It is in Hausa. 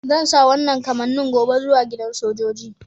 Zan sa wanan kamanni gobe zuwa gidan sojoji.